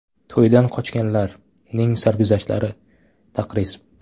“To‘yidan qochganlar”ning sarguzashtlari (taqriz).